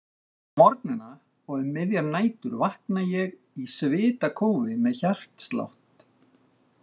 Á morgnana og um miðjar nætur vakna ég í svitakófi, með hjartslátt.